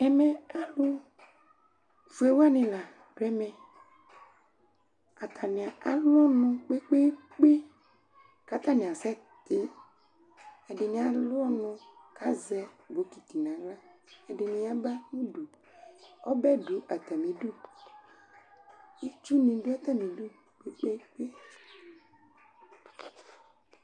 Ɛmɛ alʋ fue wanɩ la dʋ ɛmɛ Atanɩ alʋ ɔnʋ kpekpekpe ,katanɩ asɛtɩ, ɛdɩnɩ alʋ ɔnʋ kazɛ bokiti naɣla Ɛdɩnɩ yaba nudu, ɔbɛ dʋ atamidu ; itsu nɩ dʋ atamidu kpekpekpe